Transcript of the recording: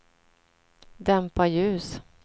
dämpa ljus